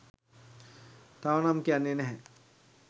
තව නම් කියන්නෙ නැහැ.